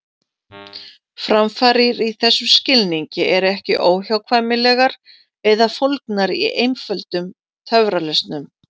Framfarir í þessum skilningi eru ekki óhjákvæmilegar eða fólgnar í einföldum töfralausnum.